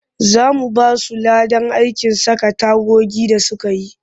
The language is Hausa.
Za mu ba su ladan aikin saka tagogi da suka yi